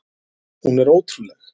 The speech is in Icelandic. Hún er ótrúleg!